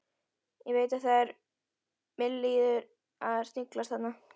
Ég veit að það var milliliður að sniglast þarna.